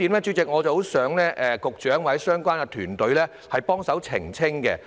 主席，我十分希望局長或相關團隊幫忙澄清另一個觀點。